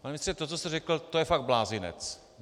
Pane ministře, to, co jste řekl, to je fakt blázinec.